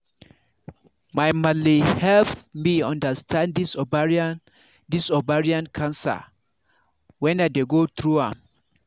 my malle help me understand this ovarian understand this ovarian cancer when i dey go through am